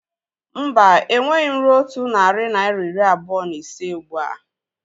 Mba, enweghị m rue otu narị naira iri abụọ na ise ụgbụa